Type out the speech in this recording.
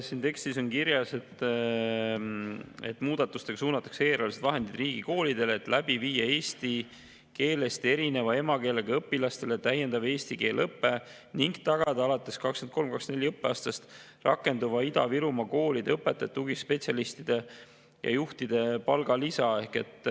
Siin tekstis on kirjas, et muudatustega suunatakse eelarvelised vahendid riigikoolidele, et läbi viia eesti keelest erineva emakeelega õpilastele täiendav eesti keele õpe ning tagada alates 2023/24. õppeaastast rakenduv Ida-Virumaa koolide õpetajate, tugispetsialistide ja juhtide palgalisa.